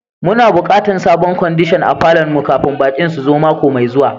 Mu na bukatan sabon kwandishan a falon mu kafin baki'n su zo mako mai zuwa.